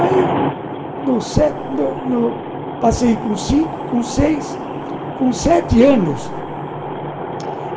Aí do, passei com cinco, com seis, com sete anos.